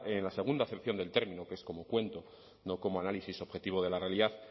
en la segunda acepción del término que es como cuento no como análisis objetivo de la realidad